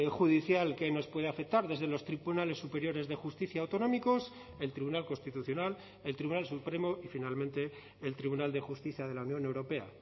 judicial que nos puede afectar desde los tribunales superiores de justicia autonómicos el tribunal constitucional el tribunal supremo y finalmente el tribunal de justicia de la unión europea